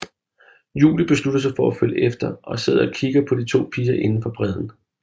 Julie beslutter sig for at følge efter og sidder og kigger på de to piger inde fra bredden